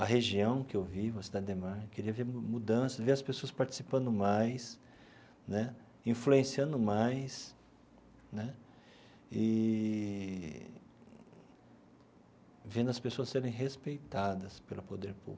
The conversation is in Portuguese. A região em que eu vivo, a Cidade Ademar queria ver mudanças, ver as pessoas participando mais né, influenciando mais né eee vendo as pessoas serem respeitadas pelo poder público.